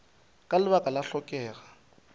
ka lebaka la go hlokega